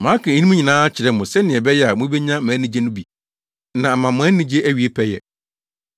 Maka eyinom nyinaa akyerɛ mo sɛnea ɛbɛyɛ a mubenya mʼanigye no bi na ama mo anigye awie pɛyɛ.